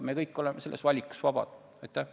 Me kõik oleme selle valiku tegemisel vabad.